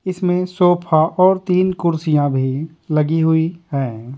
इसमें सोफा और तीन कुर्सियां भी लगी हुई हैं।